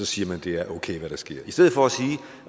siger man at det er okay hvad der sker i stedet for at